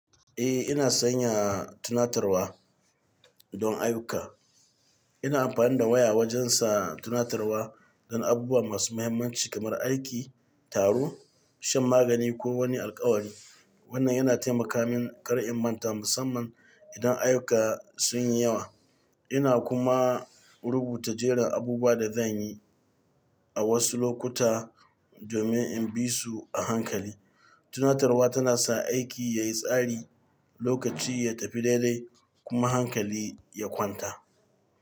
Eh, ina sanya tunatarwa don ayyuka. Ina amfani da waya wajen sa tunatarwa don abubuwa masu mahimmanci kamar aiki, taro, shan magani ko wani alkawari. Wannan yana taimaka min kar in manta, musamman idan ayyuka sun yi yawa. Ina kuma rubuta jerin abubuwan da zan yi a wasu lokuta domin in bi su a hankali. Tunatarwa tana sa aiki ya yi tsari, lokaci ya tafi daidai kuma hankali ya kwanta.